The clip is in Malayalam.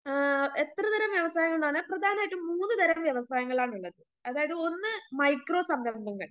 ആ എത്രതരം വ്യവസായങ്ങളാണ് പ്രധാനമായിട്ടും മൂന്നുതരം വ്യവസായങ്ങളാണിള്ളത് അതായത് ഒന്ന് മൈക്രോ സംരംഭങ്ങൾ